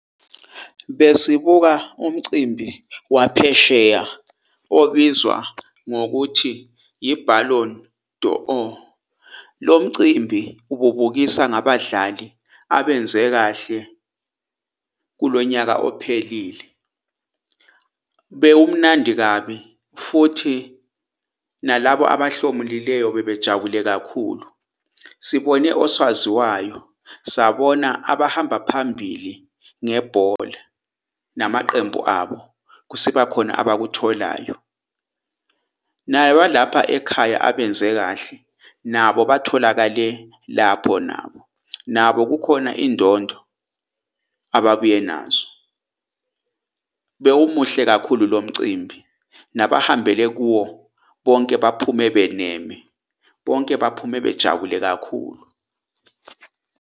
Besibuka umcimbi waphesheya obizwa ngokuthi i-Ballon d'Or. Lo mcimbi ububukisa ngabadlali abenze kahle kulonyaka ophelile. Bewumnandi kabi futhi nalabo abahlomulileyo bebejabule kakhulu. Sibone osaziwayo, sabona abahamba phambili ngebhola, namaqembu abo kwasekubakhona abakutholayo. Naye walapha ekhaya, abenze kahle nabo batholakale lapho nabo, nabo kukhona indondo ababuye nazo. Bewumuhle kakhulu lo mcimbi nabahambele kuwo bonke baphume beneme. Bonke baphume bejabule kakhulu.